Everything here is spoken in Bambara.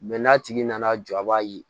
n'a tigi nana jɔ a b'a ye